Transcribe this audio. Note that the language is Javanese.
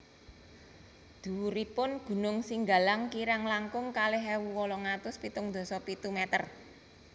Dhuwuripun gunung Singgalang kirang langkung kalih ewu wolung atus pitung dasa pitu meter